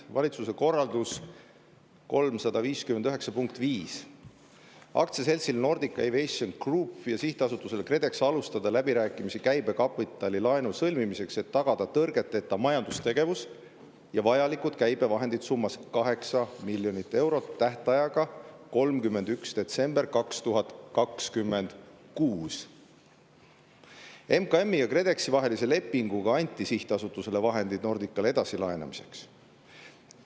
Valitsuse korraldus 359, punkt 5: "Aktsiaseltsil Nordic Aviation Group ja Sihtasutusel KredEx alustada läbirääkimisi käibekapitalilaenu lepingu sõlmimiseks, et tagada tõrgeteta majandustegevus ja vajalikud käibevahendid summas 8 000 000 eurot tähtajaga 31. detsember 2026. a." MKM-i ja KredExi vahelise lepinguga anti sihtasutusele vahendid Nordicale edasilaenamiseks.